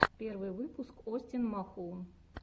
первый выпуск остин махоун